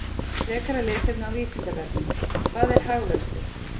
Frekara lesefni á Vísindavefnum: Hvað er hagvöxtur?